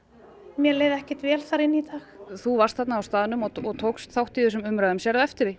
mér leið ekkert vel þar inni í dag þú varst þarna á staðnum og tókst þátt í þessum umræðum sérðu eftir því